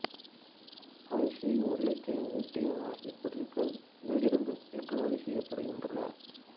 அரிசி உருளைக்கிழங்கு தேன் ஆகிய பொருட்கள் இங்கிருந்து ஏற்றுமதி செய்யப்படுகின்றன